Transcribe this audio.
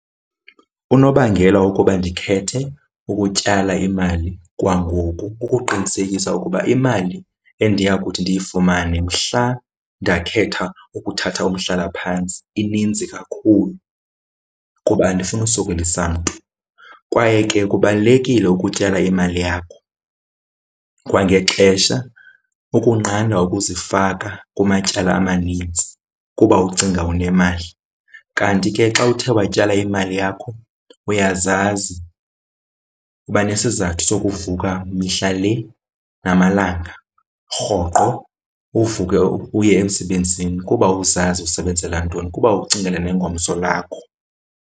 Unobangela wokuba ndikhethe ukutyala imali kwangoku kukuqinisekisa ukuba imali endiya kuthi ndiyifumane mhla ndakhetha ukuthatha umhlalaphantsi ininzi kakhulu kuba andifuni kusokolisa mntu. Kwaye ke kubalulekile ukutyala imali yakho kwangexesha ukunqanda ukuzifaka kumatyala amanintsi kuba ucinga unemali. Kanti ke xa uthe watyala imali yakho uyazazi uba, nesizathu sokuvuka mihla le namalanga, rhoqo uvuke uye emsebenzini kuba uzazi usebenzela ntoni kuba ucingela nengomso lakho.